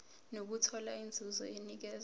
nokuthola inzuzo enikezwa